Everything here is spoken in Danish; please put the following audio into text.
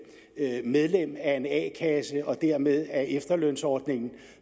er medlem af en a kasse og dermed af efterlønsordningen